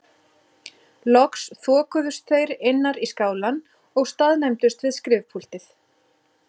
Loks þokuðust þeir innar í skálann og staðnæmdust við skrifpúltið.